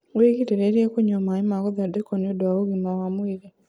wĩgirĩrĩrie kũnyua maĩ ma guthondekwo nĩũndũ wa ũgima wa mwĩrĩ